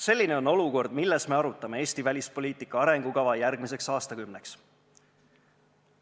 Selline on olukord, milles me arutame Eesti välispoliitika arengukava järgmiseks aastakümneks.